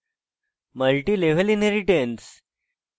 multilevel inheritance